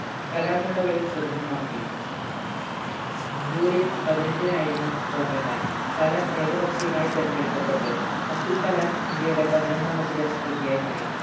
കലാമിനുള്ള വഴി സുഗമമാക്കി ജൂലൈ പതിനെട്ടിനായിരുന്നു വോട്ട് എണ്ണൽ കലാം ഏകപക്ഷിയാമായി തെരഞ്ഞെടുക്കപ്പെട്ടു അബ്ദുൾകലാം ഇന്ത്യയുടെ പതിനൊന്നാമത്തെ രാഷ്ട്രപതിയായി മാറി